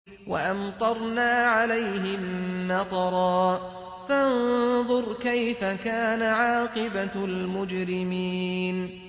وَأَمْطَرْنَا عَلَيْهِم مَّطَرًا ۖ فَانظُرْ كَيْفَ كَانَ عَاقِبَةُ الْمُجْرِمِينَ